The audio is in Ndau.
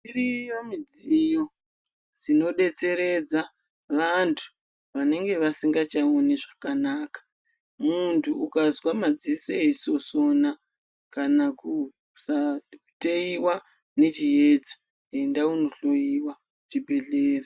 Iriyo midziyo dzinodetseredza vantu vanenge vasingachaoni zvakanaka. Muntu ukazwa madziso eisosona kana kusateyiwa nechiedza enda uno hloyiwa kuchibhedhera.